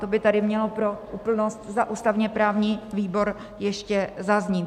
To by tady mělo pro úplnost za ústavně-právní výbor ještě zaznít.